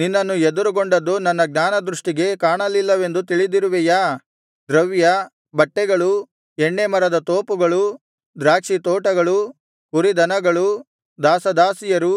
ನಿನ್ನನ್ನು ಎದುರುಗೊಂಡದ್ದು ನನ್ನ ಜ್ಞಾನದೃಷ್ಟಿಗೆ ಕಾಣಲಿಲ್ಲವೆಂದು ತಿಳಿದಿರುವೆಯಾ ದ್ರವ್ಯ ಬಟ್ಟೆಗಳು ಎಣ್ಣೇ ಮರದ ತೋಪುಗಳು ದ್ರಾಕ್ಷಿತೋಟಗಳು ಕುರಿದನಗಳು ದಾಸದಾಸಿಯರು